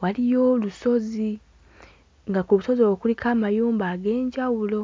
waliyo olusozi, nga ku lusozi olwo kuliko amayumba ag'enjawulo.